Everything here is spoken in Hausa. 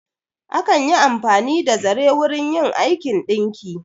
Akan yi amfani da zare wurin yin aikin ɗinki.